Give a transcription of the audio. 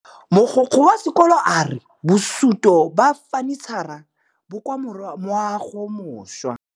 Mogokgo wa sekolo a re bosutô ba fanitšhara bo kwa moagong o mošwa.